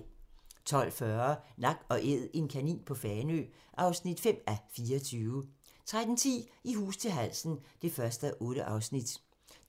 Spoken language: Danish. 12:40: Nak & Æd - en kanin på Fanø (5:24) 13:10: I hus til halsen (1:8)